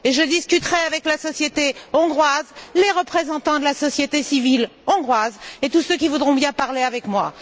Je discuterai avec la société hongroise, les représentants de la société civile hongroise et tous ceux qui voudront bien parler avec moi.